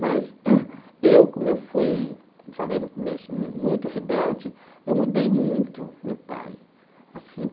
Mas, eu como eu fui eu falei no começo, mu muito rebelde, eu mudei muito meu pai assim.